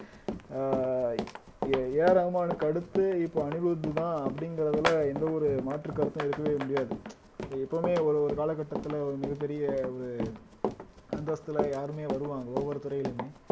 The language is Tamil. அஹ் ஏ ஏ ஆர் ரஹ்மானுக்கு அடுத்து இப்ப அனிருத்துதான் அப்படிங்கறதுல எந்த ஒரு மாற்றுக் கருத்தும் இருக்கவே முடியாது எப்பவுமே ஒரு ஒரு கால கட்டத்துல ஒரு மிகப் பெரிய ஒரு அந்தஸ்துல யாருமே வருவாங்க ஒவ்வொரு துறையிலுமே